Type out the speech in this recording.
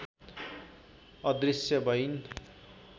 अदृश्य भइन्